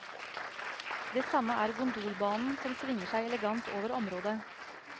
Det samme er gondolbanen som svinger seg elegant over området.